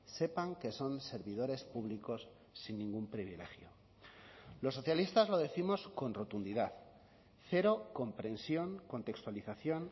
sepan que son servidores públicos sin ningún privilegio los socialistas lo décimos con rotundidad cero comprensión contextualización